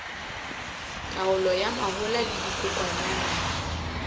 taolo ya mahola le dikokwanyana